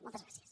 moltes gràcies